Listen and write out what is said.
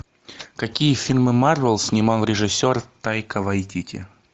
какие фильмы марвел снимал режиссер тайка вайтити